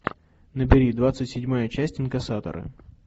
набери двадцать седьмая часть инкасаторы